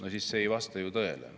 Aga see ei vasta ju tõele.